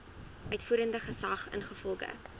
uitvoerende gesag ingevolge